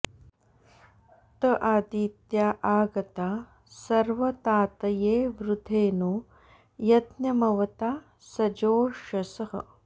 त आदित्या आ गता सर्वतातये वृधे नो यज्ञमवता सजोषसः